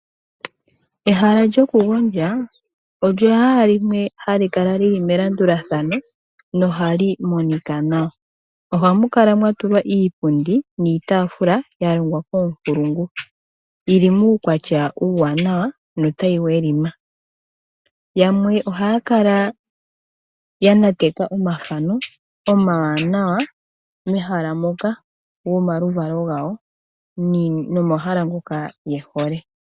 Ehala lyokugondja olyo wala limwe hali kala lili melandulathano nohali monika nawa ohamu kala mwatulwa iipundi niitafula yalongwa koonkulungu yili muukwatya uuwanawa yo otayi welima. Yamwe ohaya kala yanateka omathano omawanawa mehala moka gomaluvalo gawo nenge momahala ngoka yehole.